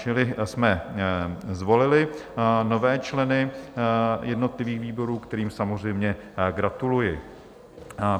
Čili jsme zvolili nové členy jednotlivých výborů, kterým samozřejmě gratuluji.